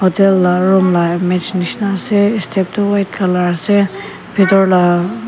hotel la room la image nishena ase step tu white color ase bitor la--